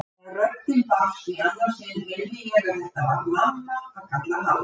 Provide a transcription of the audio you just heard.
Þegar röddin barst í annað sinn heyrði ég að þetta var mamma að kalla halló.